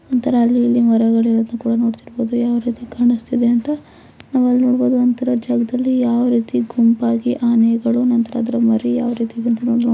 ಒಂತರ ಅಲ್ಲಿ ಇಲ್ಲಿ ಮರಗಳು ಇರುವುದನ್ನು ಕೂಡಾ ನೋಡಬಹುದು ಯಾವ ರೀತಿ ಕಾಣಿಸ್ತಾ ಇದಿಯಾ ಅಂತ ನಾವಲ್ಲಿ ನೋಡಬಹುದು ಒಂತರ ಜಾಗದಲ್ಲಿ ಯಾವ ರೀತಿ ಗುಂಪಾಗಿ ಆನೆಗಳು ನಂತರ ಅದರ ಮರಿ ಯಾವ ರೀತಿ ಇದೆಂತ ನೋಡಬಹುದು.